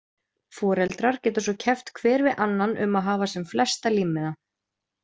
Foreldrar geta svo keppt hver við annan um að hafa sem flesta límmiða.